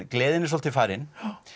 gleðin er svolítið farin